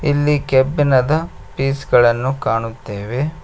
ಇಲ್ಲಿ ಕೆಬ್ಬಿಣದ ಪೀಸ್ ಗಳನ್ನು ಕಾಣುತ್ತೆವೆ.